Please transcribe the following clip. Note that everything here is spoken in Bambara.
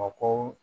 Mako